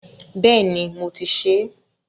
Bẹ́ẹ̀ni, mo ti ṣe é.